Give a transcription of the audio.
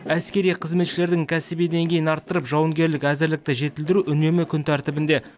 әскери қызметшілердің кәсіби деңгейін арттырып жауынгерлік әзірлікті жетілдіру үнемі күн тәртібінде